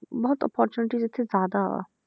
ਬਹੁਤ opportunity ਇੱਥੇ ਜ਼ਿਆਦਾ ਆ,